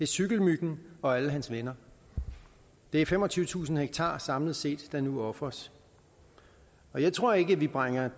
cykelmyggen og alle hans venner det er femogtyvetusind ha samlet set der nu ofres jeg tror ikke vi bringer